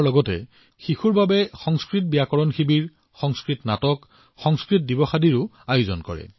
তেওঁলোকে স্কুলীয়া ছাত্ৰছাত্ৰীসকলৰ বাবে সংস্কৃত ব্যাকৰণ কেম্প সংস্কৃত নাটক আৰু সংস্কৃত দিৱসৰ দৰে কাৰ্যসূচীও আয়োজন কৰে